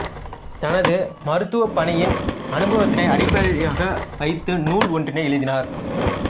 தனது மருத்துவப் பணியின் அனுபவத்தினை அடிப்படையாக வைத்து நூல் ஒன்றினை எழுதினார்